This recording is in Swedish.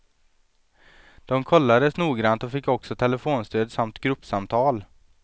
De kollades noggrant och fick också telefonstöd samt gruppsamtal.